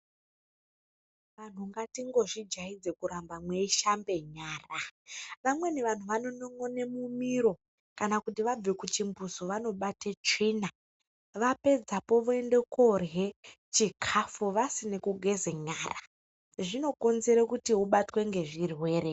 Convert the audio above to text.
Anhu ngatingozvijaaidze kurambe mweishambe nyara amweni vanhu vanono'n'one mumiro kana kuti vabve kuchimbuzi vanobate tsvina vapedzapo voende korye chikafu vasina kugeze nyara zvinokonzere kuti ubatwe ngezvirwere.